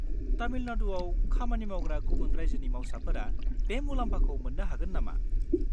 तामिलनाडुआव खामानि मावग्रा गुबुन रायजोनि मावसाफोरा बे मुलाम्फाखौ मोन्नो हागोन नामा?